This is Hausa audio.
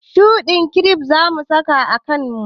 Shuɗin kiref zamu saka a kamu